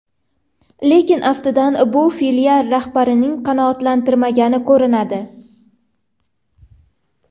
Lekin aftidan bu filial rahbarini qanoatlantirmagan ko‘rinadi.